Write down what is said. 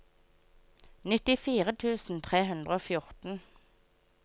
nittifire tusen tre hundre og fjorten